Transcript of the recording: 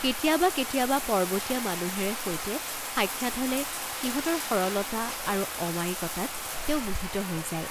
কেতিয়াবা কেতিয়াবা পৰ্ব্বতীয়া মানুহেৰে সৈতে সাক্ষাৎ হলে সিহঁতৰ সৰলতা, আৰু অমায়িকতাত তেওঁ মোহিত হৈ যায়।